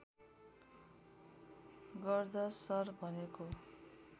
गर्द शर भनेको